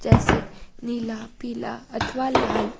जैसे नीला पीला अथवा लाल--